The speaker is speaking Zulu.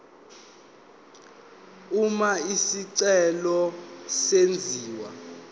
uma isicelo senziwa